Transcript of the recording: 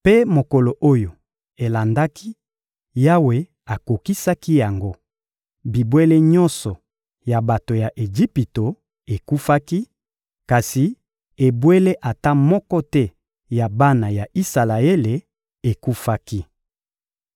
Mpe mokolo oyo elandaki, Yawe akokisaki yango: bibwele nyonso ya bato ya Ejipito ekufaki, kasi ebwele ata moko te ya bana ya Isalaele ekufaki.